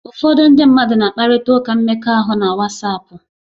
Ụfọdụ ndị mmadụ na-akparịta ụka mmekọahụ na Wasapu